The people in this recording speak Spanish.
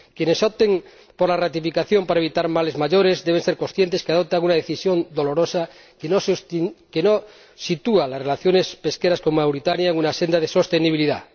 Quienes opten por la ratificación para evitar males mayores deben ser conscientes de que adoptan una decisión dolorosa que no sitúa las relaciones pesqueras con Mauritania en una senda de sostenibilidad.